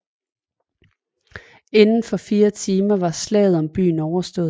Inden for fire timer var slaget om byen overstået